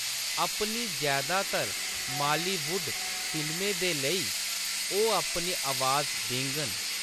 अपनी जैदातर मालीवुड फिल्में दे लेई, ओह्‌‌ अपनी अवाज देङन।